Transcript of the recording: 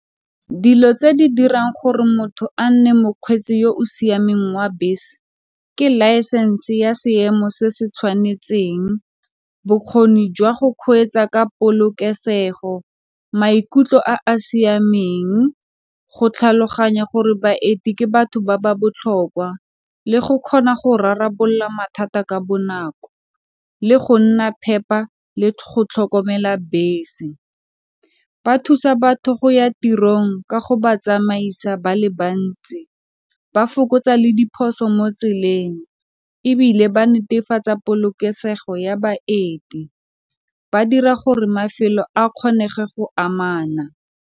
Dilo tse di dirang gore motho a nne mokgweetsi yo o siameng wa bese, ke license ya seemo se se tshwanetseng bokgoni jwa go kgweetsa ka polokesego, maikutlo a a siameng, go tlhaloganya gore baeti ke batho ba ba botlhokwa le go kgona go rarabolola mathata ka bonako, le go nna phepa le go tlhokomela bese. Ba thusa batho go ya tirong ka go batsamaisa, ba le bantsi ba fokotsa le diphoso mo tseleng ebile ba netefatsa polokesego ya baeti. Ba dira gore mafelo a kgonege go amana.